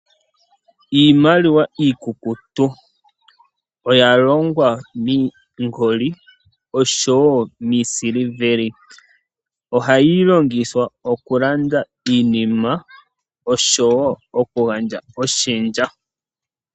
Iimaliwa iikukutu oya longwa miingoli oshowo miisiliveli. Ohayi longithwa okulanda iinima oshowo okugandja oshendja.